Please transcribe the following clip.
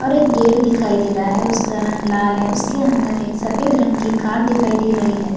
और एक गेट दिखाई दे रहा है उसका रंग लाल है उसके अंदर एक सफ़ेद रंग की कार दिखाई दे रही है।